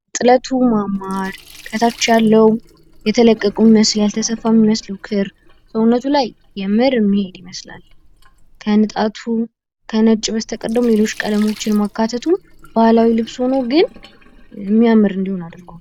የጥለቱ ማማር፤ ከታች ያለው የተለቀቁ የሚመስል ያልተሰፋ የሚመስል ክር ሰውነቱ ላይ የምር የሚሄድ ይመስላል። ከንጣቱ ከነጭ በስተቀር ደግሞ ሌሎች ቀለሞችን ማካተቱ ባህላዊ ልብስ ሁኖ ግን እሚያምር እንድሆን አድርጓል።